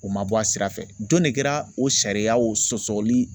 O ma bɔ a sira fɛ jɔn de kɛra o sariyaw sɔsɔli